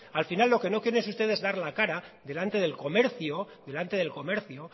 al final lo que no quieren es ustedes dar la cara delante del comercio delante del comercio